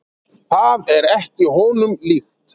Það er ekki honum líkt.